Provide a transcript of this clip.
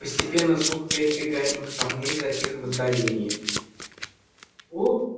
постепенно звук передвигаемых камней затих в отдалении